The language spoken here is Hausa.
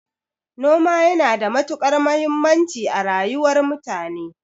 Noma yana da matukar muhimmanci a rayuwar mutane